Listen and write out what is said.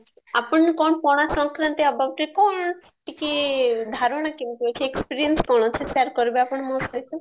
ଆପଣ କଣ ପଣାଶଙ୍କାରାନ୍ତି aboutରେ କଣ ଟିକେ ଧାରଣା କେମିତି ଅଛି experience କଣ ଅଛି share କରିବେ ଆପଣ ମୋ ସହିତ